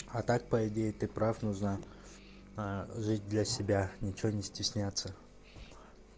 а так по идее ты прав нужно ээ жить для себя ничего не стесняться